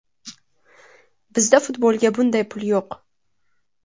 Bizda futbolga bunday pul yo‘q.